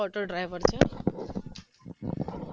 auto driver છે